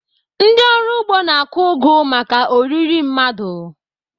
Ndị ọrụ ugbo na-akụ ugu maka oriri mmadụ.